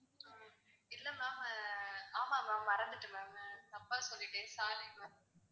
இல்ல ma'am ஆமா ma'am மறந்துட்டேன் ma'am தப்பா சொல்லிட்டேன் sorry ma'am